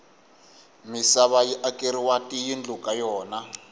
misava yi akeriwa tiyindlu ka yona